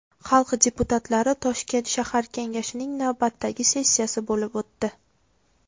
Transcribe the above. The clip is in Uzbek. Xalq deputatlari Toshkent shahar kengashining navbatdagi sessiyasi bo‘lib o‘tdi .